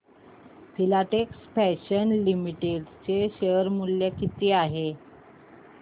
Filatex fashions limited चे share मूल्य किती आहे